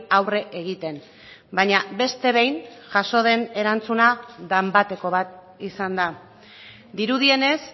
aurre egiten baina beste behin jaso den erantzuna danbateko bat izan da dirudienez